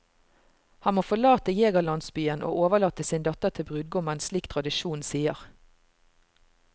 Han må forlate jegerlandsbyen og overlate sin datter til brudgommen, slik tradisjonen sier.